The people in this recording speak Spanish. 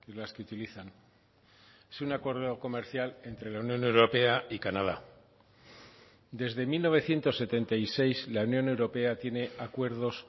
las que utilizan es un acuerdo comercial entre la unión europea y canadá desde mil novecientos setenta y seis la unión europea tiene acuerdos